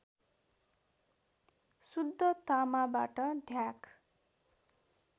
शुद्ध तामाबाट ढ्याक